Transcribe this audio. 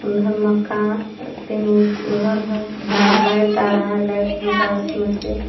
तीन गो घर है जो लाइट आ रहा है लाइट सीधा उसमें से।